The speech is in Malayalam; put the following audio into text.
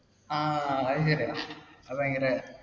ആ അത് ശരിയാ. അത്‌ ഭയങ്കര